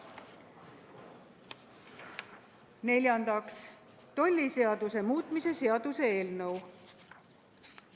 Neljandaks, tolliseaduse muutmise seaduse eelnõu.